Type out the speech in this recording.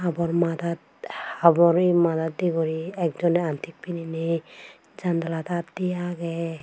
Habor maadaat habore madat de guri ek jone antik pinine jandalat aat di age.